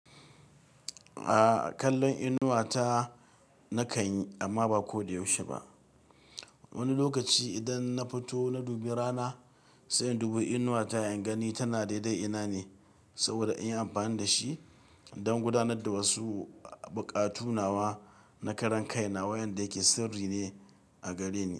Aaa, kallon inuwa ta nakan yi amma ba ko da yaushe ba. Wani lokaci idan na fito na dubi rana sai indubi inuwa ta ingani tana daidai ina ne saboda inyi amfani da shi don gudanar da wasu buƙatu nawa na karan kai na waƴanda yake sirri ne a gare ni.